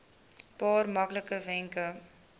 paar maklike wenke